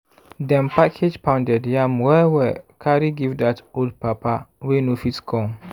dem package pounded yam well well carry give dat old papa wey no fit come.